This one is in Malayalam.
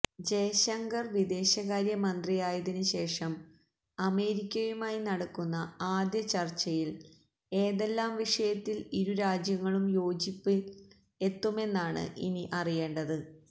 ജയശങ്കര് വിദേശകാര്യ മന്ത്രിയായതിന് ശേഷം അമേരിക്കയുമായി നടക്കുന്ന ആദ്യ ചര്ച്ചയില് ഏതെല്ലാം വിഷയത്തില് ഇരുരാജ്യങ്ങളും യോജിപ്പില് എത്തുമെന്നാണ് ഇനി അറിയേണ്ടത്